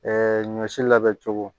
Ɛɛ ɲɔ si labɛn cogo